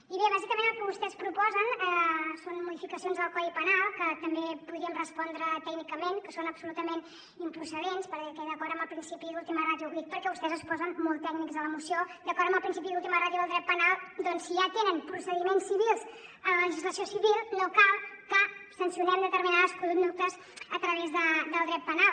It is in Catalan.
i bé bàsicament el que vostès proposen són modificacions al codi penal que també podríem respondre tècnicament que són absolutament improcedents perquè d’acord amb el principi d’última ràtio ho dic perquè vostès es posen molt tècnics a la moció d’acord amb el principi d’última ràtio del dret penal doncs si ja tenen procediments civils a la legislació civil no cal que sancionem determinades conductes a través del dret penal